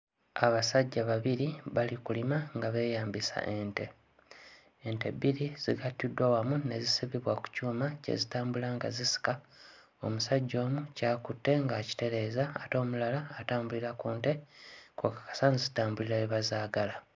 Abasajja babiri bali mu kulima nga beeyambisa ente. Ente bbiri zigattiddwa wamu ne zisibibwa ku kyuma kye zitambula nga zisika omusajja omu ky'akutte ng'akitereeza ate omulala atambulira ku nte kko asazitambulira we bazaagala.